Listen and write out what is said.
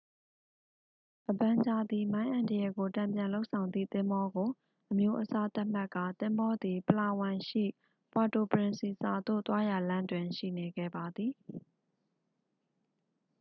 အဗန်ဂျာသည် မိုင်းအန္တရာယ်ကိုတန်ပြန်လုပ်ဆောင်သည့်သင်္ဘောကို အမျိုးအစားသတ်မှတ်ကာ သင်္ဘောသည် ပလာဝမ်ရှိ ပွာတိုပရင်စီဆာသို့ သွားရာလမ်းတွင် ရှိနေခဲ့ပါသည်